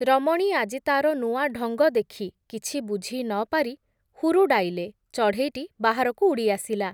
ରମଣୀ ଆଜି ତାର ନୂଆ ଢଙ୍ଗ ଦେଖି, କିଛି ବୁଝି ନପାରି, ହୁରୁଡ଼ାଇଲେ, ଚଢ଼େଇଟି ବାହାରକୁ ଉଡ଼ି ଆସିଲା ।